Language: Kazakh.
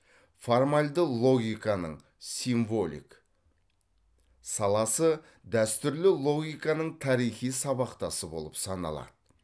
формальді логиканың символик саласы дәстүрлі логиканың тарихи сабақтасы болып саналады